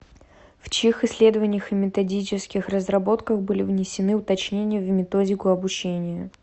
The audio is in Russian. в чьих исследованиях и методических разработках были внесены уточнения в методику обучения